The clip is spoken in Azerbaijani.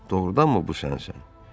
Doğrudanmı bu sənsən?